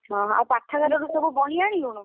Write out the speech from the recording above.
ଓହୋ ଆଉ ପାଠାଗାରରୁ ସବୁ ବହି ଆଣିଲୁଣୁ?